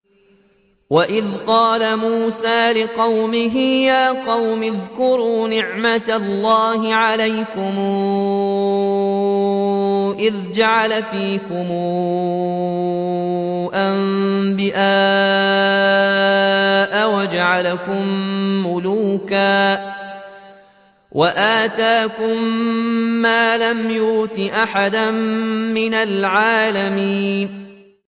وَإِذْ قَالَ مُوسَىٰ لِقَوْمِهِ يَا قَوْمِ اذْكُرُوا نِعْمَةَ اللَّهِ عَلَيْكُمْ إِذْ جَعَلَ فِيكُمْ أَنبِيَاءَ وَجَعَلَكُم مُّلُوكًا وَآتَاكُم مَّا لَمْ يُؤْتِ أَحَدًا مِّنَ الْعَالَمِينَ